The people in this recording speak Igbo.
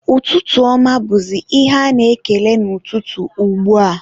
ụtụtụ ọma bụzị ihe a na-ekele n'ụtụtụ ugbua.